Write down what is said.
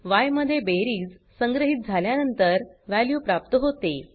य मध्ये बेरीज संग्रहीत झाल्यानंतर वॅल्यू प्राप्त होते